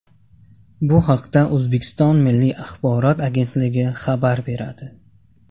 Bu haqda O‘zbekiston Milliy axborot agentligi xabar beradi .